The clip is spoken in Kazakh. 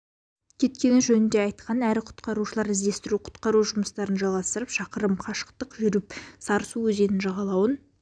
кеткені жөнінде айтқан әрі қарай құтқарушылар іздестіру құтқару-жұмыстарын жалғастырып шақырым қашықтық жүріп сарысу өзенінің жағалауын